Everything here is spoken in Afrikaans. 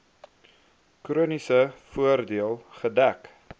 chroniese voordeel gedek